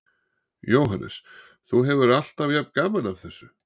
Jóhannes: Þú hefur alltaf jafn gaman að þessu?